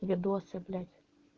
видосы блядь